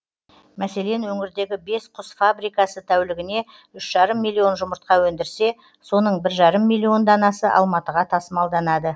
мәселен өңірдегі бес құс фабрикасы тәулігіне үш жарым миллион жұмыртқа өндірсе соның бір жарым миллион данасы алматыға тасымалданады